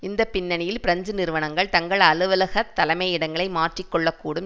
இந்த பின்னணியில் பிரெஞ்சு நிறுவனங்கள் தங்கள் அலுவலகத் தலைமையிடங்களை மாற்றி கொள்ள கூடும்